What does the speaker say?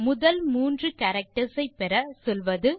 முதல் மூன்று கேரக்டர்ஸ் பெற சொல்வது